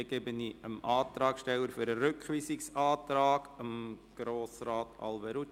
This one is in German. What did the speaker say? Dann gebe ich dem Antragsteller des Rückweisungsantrags, Grossrat Alberucci, das Wort.